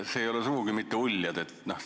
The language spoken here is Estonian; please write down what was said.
Need ei ole sugugi mitte uljad ideed.